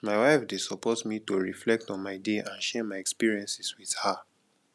my wife dey support me to reflect on my day and share my experiences with her